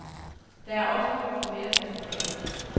Der er også brug for mere personale.